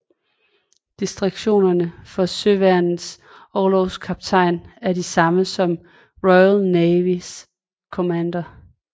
Distinktionerne for Søværnets orlogskaptajner er de samme som Royal Navys Commander